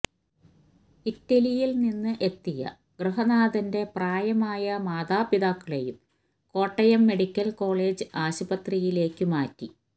ഇറ്റലിയില് നിന്ന് എത്തിയ ഗൃഹനാഥന്റെ പ്രായമായ മാതാപിതാക്കളേയും കോട്ടയം മെഡിക്കല് കോളേജ് ആശുപത്രിയിലേക്ക് മാറ്റി